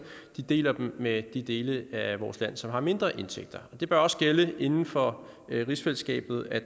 deler dem med de dele af vores land som har mindre indtægter det bør også gælde inden for rigsfællesskabet at